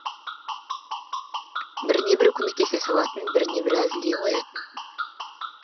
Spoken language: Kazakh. біріне бірі көмектесе салатын біріне бірі әзілдей қоятын